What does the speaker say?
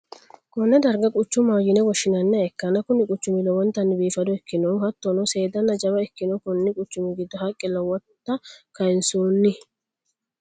konne darga quchumaho yine woshshi'nanniha ikkanna, kuni quchumino lowontanni biifado ikkinohu hattono, seedanna jawa ikkinoho, konni quchumi giddo haqqe lowota kayinsoonni.